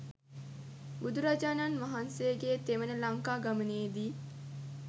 බුදුරජාණන් වහන්සේගේ තෙවන ලංකා ගමනේ දී